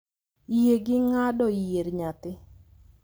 yie gi ng'ado yier nyathi,